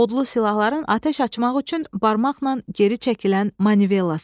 Odlu silahların atəş açmaq üçün barmaqla geri çəkilən manivellası.